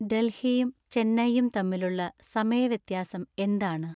ഡൽഹിയും ചെന്നൈയും തമ്മിലുള്ള സമയ വ്യത്യാസം എന്താണ്